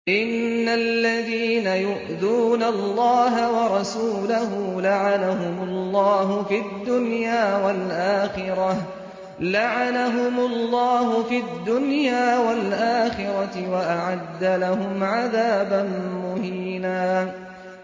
إِنَّ الَّذِينَ يُؤْذُونَ اللَّهَ وَرَسُولَهُ لَعَنَهُمُ اللَّهُ فِي الدُّنْيَا وَالْآخِرَةِ وَأَعَدَّ لَهُمْ عَذَابًا مُّهِينًا